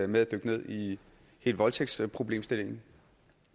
med at dykke ned i hele voldtægtsproblemstillingen